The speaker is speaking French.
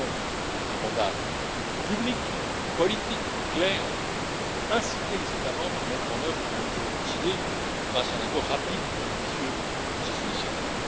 Nous avons un mandat public, politique, clair pour inciter les États membres à mettre en œuvre les mesures décidées, grâce à un accord rapide et ambitieux sur ces initiatives.